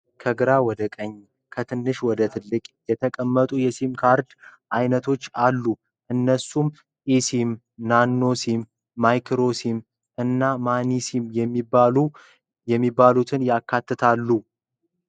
ከግራ ወደ ቀኝ፣ ከትንሽ ወደ ትልቅ የተቀመጡ የሲም ካርድ አይነቶች አሉ። እነሱም ኢሲም (eSIM/MFF2)፣ ናኖ ሲም (Nano SIM/4FF)፣ ማይክሮ ሲም (Micro SIM/3FF) እና ሚኒ ሲም (Mini SIM/2FF) የሚባሉትን ያካትታሉ።